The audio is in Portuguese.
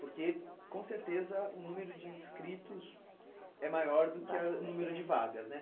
Porque, com certeza, o número de inscritos é maior do que a o número de vagas, né? Vagas que tem